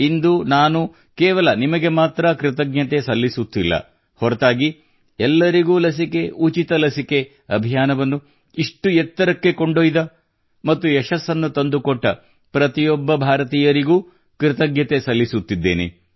ಇಂದು ನಾನು ಕೇವಲ ನಿಮಗೆ ಮಾತ್ರ ಕೃತಜ್ಞತೆ ಸಲ್ಲಿಸುತ್ತಿಲ್ಲ ಹೊರತಾಗಿ ಎಲ್ಲರಿಗೂ ಲಸಿಕೆ ಉಚಿತ ಲಸಿಕೆ ಅಭಿಯಾನವನ್ನು ಇಷ್ಟು ಎತ್ತರಕ್ಕೆ ಕೊಂಡೊಯ್ದ ಮತ್ತು ಯಶಸ್ಸನ್ನು ತಂದುಕೊಟ್ಟ ಪ್ರತಿಯೊಬ್ಬ ಭಾರತೀಯನಿಗೂ ಕೃತಜ್ಞತೆ ಸಲ್ಲಿಸುತ್ತಿದ್ದೇನೆ